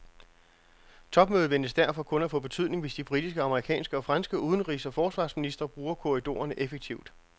Topmødet ventes derfor kun at få betydning, hvis de britiske, amerikanske og franske udenrigs og forsvarsministre bruger korridorerne effektivt.